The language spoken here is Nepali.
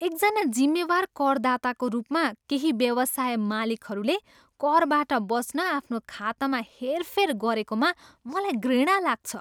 एकजना जिम्मेवार करदाताको रूपमा, केही व्यवसाय मालिकहरूले करबाट बच्न आफ्नो खातामा हेरफेर गरेकोमा मलाई घृणा लाग्छ